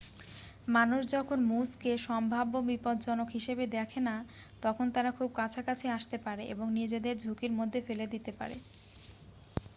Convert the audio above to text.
যখন মানুষ moose কে সম্ভাব্য বিপজ্জনক হিসেবে দেখে না তখন তারা খুব কাছাকাছি আসতে পারে এবং নিজেদের ঝুঁকির মধ্যে ফেলে দিতে পারে